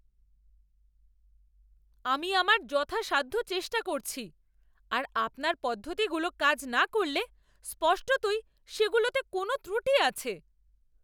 আমি আমার যথাসাধ্য চেষ্টা করছি, আর আপনার পদ্ধতিগুলো কাজ না করলে স্পষ্টতই সেগুলোতে কোনও ত্রুটি আছে।